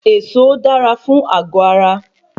Èso dára fún àgọ ara